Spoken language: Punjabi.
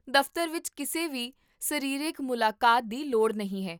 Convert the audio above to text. ਦਫਤਰ ਵਿੱਚ ਕਿਸੇ ਵੀ ਸਰੀਰਕ ਮੁਲਾਕਾਤ ਦੀ ਲੋੜ ਨਹੀਂ ਹੈ